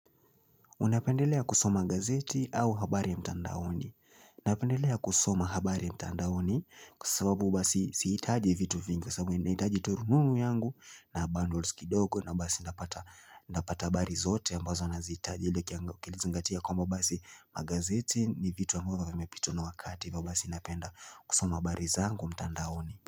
Unapendelea kusoma gazeti au habari ya mtandaoni napendelea kusoma habari ya mtandaoni kusababu basi sihitaji vitu vingi sababu Naitaji tu rununu yangu na bandles kidogo na basi napata napata bari zote ambazo na zita Jile kia kilizingatia kwamba basi magazeti ni vitu ambayoyamepitwa na wakati ivyo basi napenda kusoma habari zangu mtandaoni.